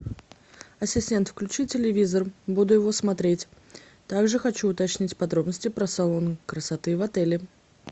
ассистент включи телевизор буду его смотреть так же хочу уточнить подробности про салон красоты в отеле